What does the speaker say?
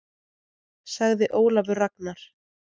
Sagði Ólafur Ragnar.